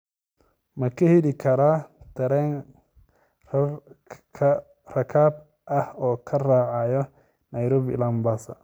ma ka heli karaa tareen rakaab ah oo ka raacaya nairobi ilaa mombasa